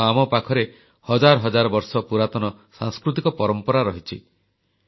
କାରଣ ଆମ ପାଖରେ ହଜାର ହଜାର ବର୍ଷ ପୁରାତନ ସାଂସ୍କୃତିକ ପରମ୍ପରା ରହିଛି